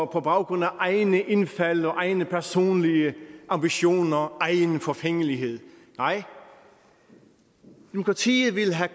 på baggrund af egne indfald og egne personlige ambitioner egen forfængelighed nej demokratiet vil have